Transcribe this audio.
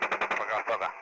Paqa, paqa.